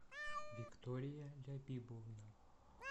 виктория лябибовна